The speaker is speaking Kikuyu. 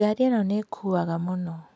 Ngari ĩno nĩĩkuaga mũno